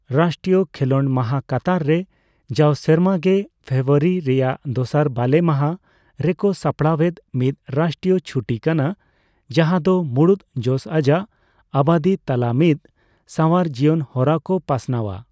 ᱨᱟᱥᱴᱨᱤᱭᱚ ᱠᱷᱮᱸᱞᱚᱰ ᱢᱟᱦᱟ ᱠᱟᱛᱟᱨ ᱨᱮ ᱡᱟᱣ ᱥᱮᱨᱢᱟ ᱜᱮ ᱯᱷᱮᱵᱨᱩᱣᱟᱨᱤ ᱨᱮᱱᱟᱜ ᱫᱚᱥᱟᱨ ᱵᱟᱞᱮ ᱢᱟᱦᱟ ᱨᱮᱠᱚ ᱥᱟᱯᱲᱟᱣᱮᱫ ᱢᱤᱫ ᱨᱟᱥᱴᱨᱤᱭᱚ ᱪᱷᱩᱴᱤ ᱠᱟᱱᱟ, ᱡᱟᱦᱟᱸ ᱫᱚ ᱢᱩᱬᱩᱫ ᱡᱚᱥ ᱟᱡᱟᱜ ᱟᱵᱟᱫᱤ ᱛᱟᱞᱟ ᱢᱤᱫ ᱥᱟᱣᱟᱨ ᱡᱤᱭᱚᱱ ᱦᱚᱨᱟ ᱠᱚ ᱯᱟᱥᱱᱟᱣᱼᱟ ᱾